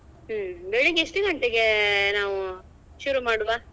ಹ್ಮ್ ಬೆಳ್ಳಿಗ್ಗೆ ಎಷ್ಟು ಗಂಟೆಗೆ ನಾವು ಶುರು ಮಾಡುವ?